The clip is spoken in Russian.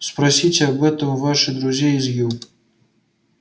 спросите об этом ваших друзей из ю